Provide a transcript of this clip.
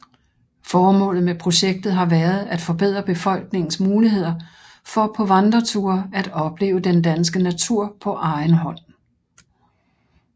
Formålet med projektet har været at forbedre befolkningens muligheder for på vandreture at opleve den danske natur på egen hånd